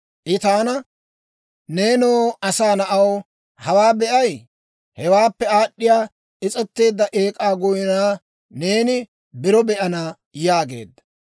I taana, «Neenoo asaa na'aw, hawaa be'ay? Hewaappe aad'd'iyaa is's'eteedda ek'k'aa goynaa neeni biro be'ana» yaageedda.